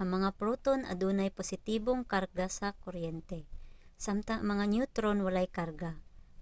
ang mga proton adunay positibong karga sa kuryente samtang ang mga neutron walay karga.